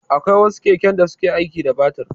Akwai wasu keken da suke aiki da batir.